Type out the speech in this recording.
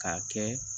K'a kɛ